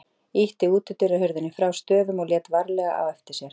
Ýtti útidyrahurðinni frá stöfum og lét varlega á eftir sér.